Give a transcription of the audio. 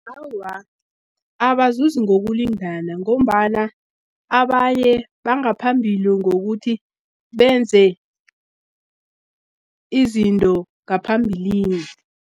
Awa, abazuzi ngokulingana ngombana abanye bangaphambili, ngokuthi benze izinto ngaphambilini.